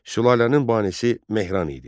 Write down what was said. Sülalənin banisi Mehran idi.